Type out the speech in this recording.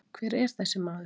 Hver er þessi maður?